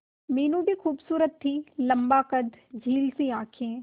मीनू भी खूबसूरत थी लम्बा कद झील सी आंखें